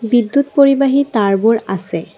বিদ্যুৎ পৰিবাহী তাঁৰবোৰ আছে।